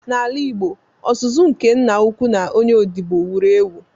N’ala Igbo, ọzụzụ nke Nna-ukwu na onye odibo wuru ewu.